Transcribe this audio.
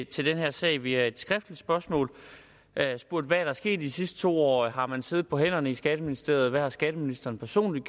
til den her sag via et skriftligt spørgsmål jeg har spurgt hvad der er sket i de sidste to år har man siddet på hænderne i skatteministeriet og hvad har skatteministeren personligt